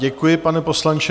Děkuji, pane poslanče.